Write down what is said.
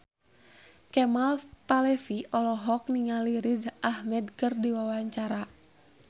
Kemal Palevi olohok ningali Riz Ahmed keur diwawancara